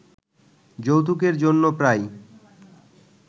যৌতুকের জন্য প্রায়